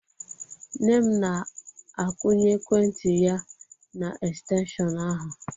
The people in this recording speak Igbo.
Nne m na-akwunye ekwentị ya n'estenshịon ahụ.